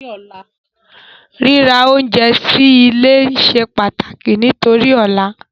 Ríra oúnjẹ sí ilé se pàtàkì nítorí ọ̀la